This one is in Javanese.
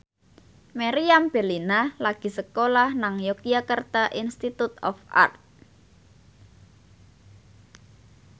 Meriam Bellina lagi sekolah nang Yogyakarta Institute of Art